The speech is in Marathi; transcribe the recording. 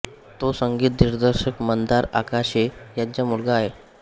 तो संगीत दिग्दर्शक मंदार आगाशे यांचा मुलगा आहे